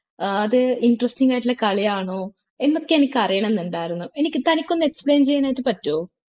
ഏർ അത് interesting ആയിട്ടുള്ള കളിയാണോ എന്നൊക്കെ എനിക്ക് അറിയണം എന്നുണ്ടായിരുന്നു എനിക്ക് തനിക്കൊന്ന് explain ചെയ്യാനായിട്ട് പറ്റോ